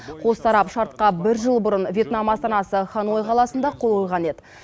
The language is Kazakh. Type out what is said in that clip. қос тарап шартқа бір жыл бұрын вьетнам астанасы ханой қаласында қол қойған еді